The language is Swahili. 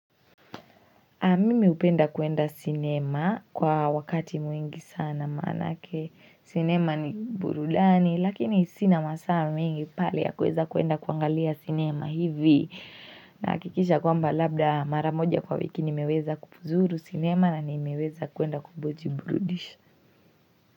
Mimi hupenda kuenda sinema kwa wakati mwingi sana manake sinema ni burudani lakini sina masaa mengi pale ya kuweza kuenda kuangalia sinema hivi nahakikisha kwamba labda mara moja kwa wiki nimeweza kupuzuru sinema na nimeweza kuenda kujiburudisha.